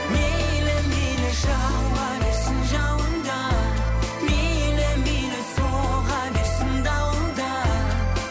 мейлі мейлі жауа берсін жауын да мейлі мейлі соға берсін дауыл да